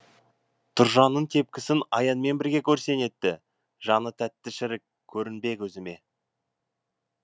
тұржанның тепкісін аянмен бірге көрсең етті жаны тәтті шірік көрінбе көзіме